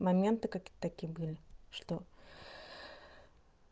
моменты какие-то такие были что